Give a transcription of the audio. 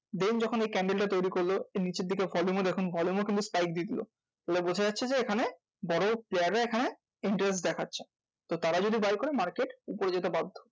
Then যখন এই candle টা তৌরি করলো নিচের দিকে volume ও দেখুন volume ও কিন্তু spike দিয়ে দিলো। তাহলে বুঝা যাচ্ছে যে এখানে বড় player রা এখানে interest দেখাচ্ছে। তারা যদি buy করে market উপরে যেতে বাধ্য।